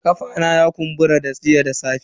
Kafa na ya kumbura jiya da safe.